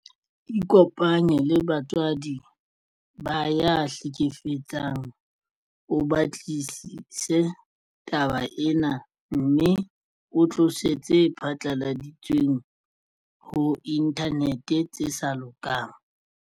Ikopanye le batswadi ba ya hlekefetsang o batlisise taba ena mme o tlose tse phatlaladitsweng ho inthanete tse sa lokang.